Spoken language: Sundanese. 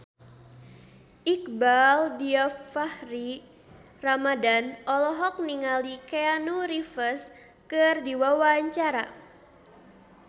Iqbaal Dhiafakhri Ramadhan olohok ningali Keanu Reeves keur diwawancara